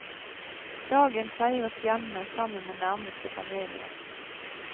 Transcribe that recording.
Dagen feires hjemme sammen med nærmeste familie.